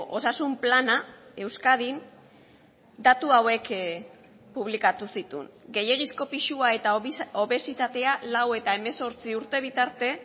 osasun plana euskadin datu hauek publikatu zituen gehiegizko pisua eta obesitatea lau eta hemezortzi urte bitarte